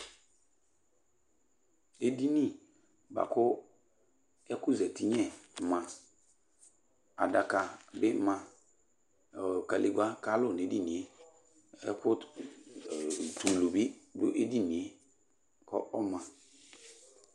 Edini ba Ku eku zeti nyɛ ma, adaka bi ma, ɔɔ kalegba kalu n'edinie ɛku t'ulu bi du edinie k'ɔɔma